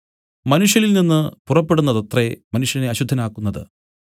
മനുഷ്യനിൽനിന്നു പുറപ്പെടുന്നതത്രേ മനുഷ്യനെ അശുദ്ധനാക്കുന്നത്